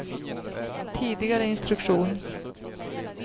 tidigare instruktion